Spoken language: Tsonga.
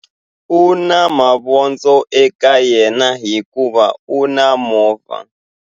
U na mavondzo eka yena hikuva u na movha.